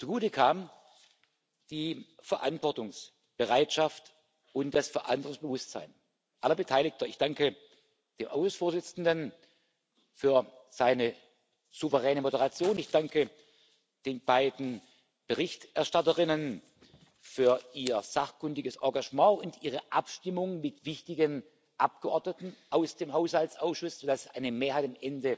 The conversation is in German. Gut waren die Verantwortungsbereitschaft und das Verantwortungsbewusstsein aller Beteiligten. Ich danke dem Ausschussvorsitzenden für seine souveräne Moderation, ich danke den beiden Berichterstatterinnen für ihr sachkundiges Engagement und ihre Abstimmung mit wichtigen Abgeordneten aus dem Haushaltsausschuss, sodass am Ende eine Mehrheit